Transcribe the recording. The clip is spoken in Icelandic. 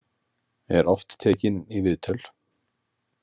Er oft tekinn í viðtöl.